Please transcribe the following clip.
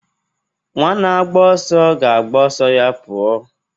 Nwa na-agba ọsọ ga-agba ọsọ ya pụọ